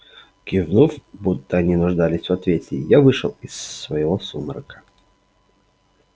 кивнув будто они нуждались в ответе я вышел из своего сумрака